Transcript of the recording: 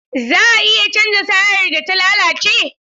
Za a iya canza tayar da ta lalace?